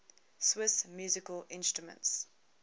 swiss musical instruments